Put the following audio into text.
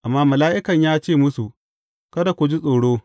Amma mala’ikan ya ce musu, Kada ku ji tsoro.